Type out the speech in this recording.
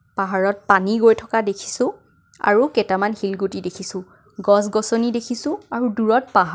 পাহাৰত পানী গৈ থকা দেখিছোঁ আৰু কেইটামান শিলগুটি দেখিছোঁ গছ গছনী দেখিছোঁ আৰু দূৰত পাহাৰ.